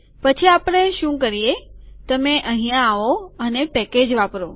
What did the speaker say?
પછી આપણે શું કરીએ કે તમે અહિયાં આવો અને પેકેજ વાપરો